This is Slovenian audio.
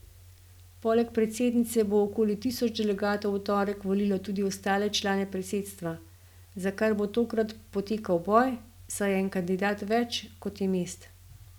Poleg predsednice bo okoli tisoč delegatov v torek volilo tudi ostale člane predsedstva, za kar bo tokrat potekal boj, saj je en kandidat več, kot je mest.